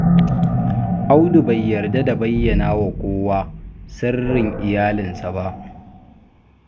Audu bai yarda da yawan bayyana wa kowa sirrin iyalinsa ba.